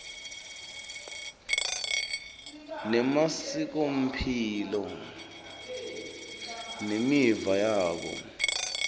nemasikomphilo nemiva yabo